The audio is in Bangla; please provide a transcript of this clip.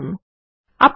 কার্সার পৃষ্ঠায় নিয়ে যান